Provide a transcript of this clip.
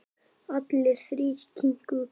Allir þrír kinkuðu kolli.